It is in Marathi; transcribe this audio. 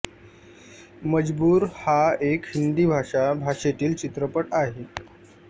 मजबूर हा एक हिंदी भाषा भाषेतील चित्रपट आहे